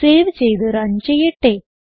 save ചെയ്ത് run ചെയ്യട്ടെ